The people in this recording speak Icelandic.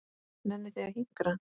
Nennið þið að hinkra?